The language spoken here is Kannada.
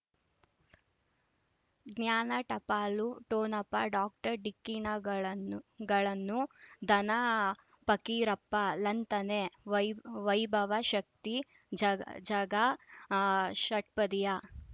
ಜ್ಞಾನ ಟಪಾಲು ಠೊಣಪ ಡಾಕ್ಟರ್ ಢಿಕ್ಕಿ ಣಗಳನ್ನು ಗಳನು ಧನ ಆ ಪಕೀರಪ್ಪ ಳಂತನೆ ವೈಭ ವೈಭವ್ ಶಕ್ತಿ ಝ ಝಗಾ ಆ ಷಟ್ಪದಿಯ